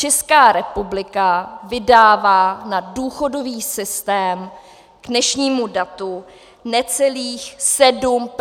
Česká republika vydává na důchodový systém k dnešnímu datu necelých 7 % HDP.